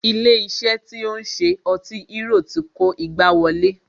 Ilé iṣé tí o ń ṣe ọtí hérò ti kó igbá wọlé.